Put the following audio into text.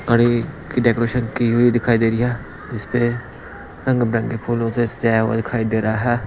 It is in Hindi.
गाड़ी की डेकोरेशन की हुई दिखाई दे रही है जिसपे रंग बिरंग के फूलोस सजाया हुआ दिखाई दे रहा है।